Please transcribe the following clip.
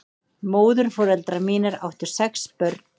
Móðurforeldrar mínir áttu sex börn.